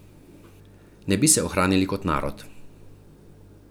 Ne bi se ohranili kot narod.